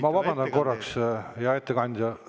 Ma vabandan korraks, hea ettekandja!